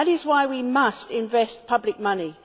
That is why we must invest public money.